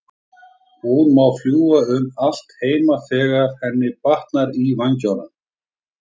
Hún má fljúga um allt heima þegar henni batnar í vængnum.